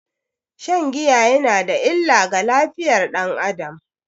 Shan giya yana da illa ga lafiyar dan Adam.